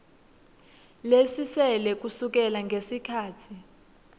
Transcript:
lesisele kusukela ngesikhatsi